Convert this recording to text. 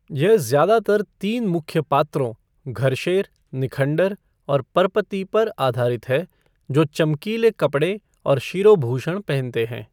यह ज़्यादातर तीन मुख्य पात्रों, घरशेर, निखंडर और परपति पर आधारित है, जो चमकीले कपड़े और शिरोभूषण पहनते हैं।